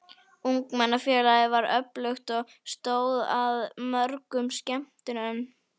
Ungmennafélagið var öflugt og stóð að mörgum skemmtunum.